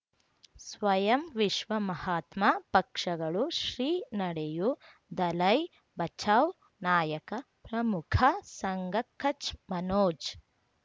ಸ್ವಯಂ ವಿಶ್ವ ಮಹಾತ್ಮ ಪಕ್ಷಗಳು ಶ್ರೀ ನಡೆಯೂ ದಲೈ ಬಚೌ ನಾಯಕ ಪ್ರಮುಖ ಸಂಘ ಕಚ್ ಮನೋಜ್